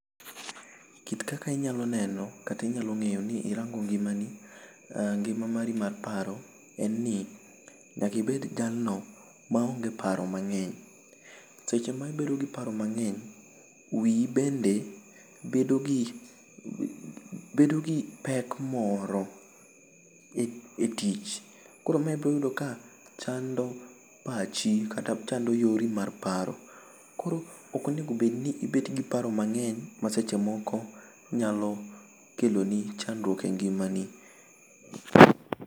Kit kaka inyalo neno kata inyalo ngeyo ni i rango ngima ni ngima mar paro en ni nyaka ibed jal no ma onge paro ma ngeny seche ma i bedo gi paro ma ngeny wiyi bende bedo gi pek moro e tich koro i biro yudo ni chando pachi kata yori mar paro koro ok enego bed ni e bet gi paro mangeny ma seche moko nyalo kelo ni chandruok e ngima ni.